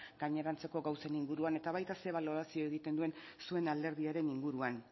gainerantzeko gauzen inguruan eta baita ze balorazio egiten duen zuen alderdiaren inguruan